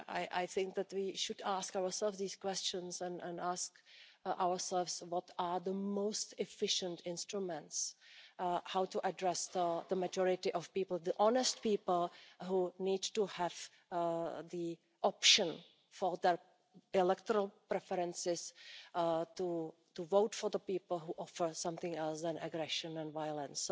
I think that we should ask ourselves these questions and ask ourselves what are the most efficient instruments, how to address the majority of people, the honest people who need to have the option for their electoral preferences, to vote for the people who offer something other than aggression and violence.